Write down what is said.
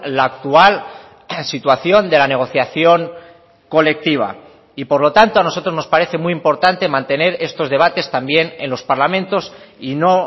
la actual situación de la negociación colectiva y por lo tanto a nosotros nos parece muy importante mantener estos debates también en los parlamentos y no